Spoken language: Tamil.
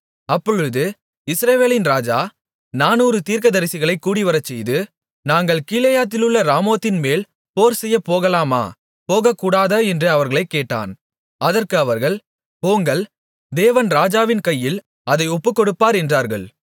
அப்பொழுது இஸ்ரவேலின் ராஜா நானூறு தீர்க்கதரிசிகளைக் கூடிவரச்செய்து நாங்கள் கீலேயாத்திலுள்ள ராமோத்தின்மேல் போர்செய்யப் போகலாமா போகக்கூடாதா என்று அவர்களைக் கேட்டான் அதற்கு அவர்கள் போங்கள் தேவன் ராஜாவின் கையில் அதை ஒப்புக்கொடுப்பார் என்றார்கள்